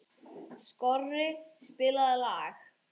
Skorri, spilaðu lag.